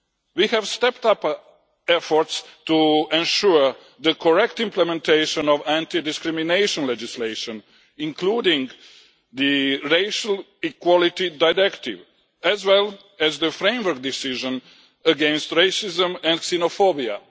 We have stepped up our efforts to ensure the correct implementation of anti discrimination legislation including the Racial Equality Directive, as well as the Framework Decision against Racism and Xenophobia.